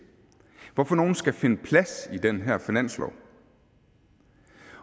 hvad for nogle skal finde plads i den her finanslov